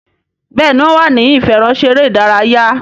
Béèni wón wá ní ìfẹ̀rọṣeré ìdárayá.